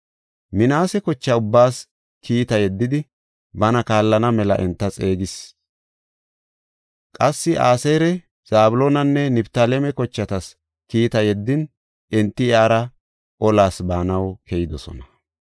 Minaase kocha ubbaas kiita yeddidi, bana kaallana mela enta xeegisis. Qassi Aseera, Zabloonanne Niftaaleme kochatas kiita yeddin, enti iyara olas baanaw keyidosona.